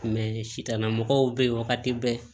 sitan mɔgɔw bɛ yen wagati bɛɛ